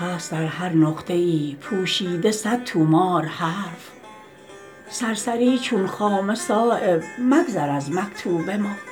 هست در هر نقطه ای پوشیده صد طومار حرف سرسری چون خامه صایب مگذر از مکتوب ما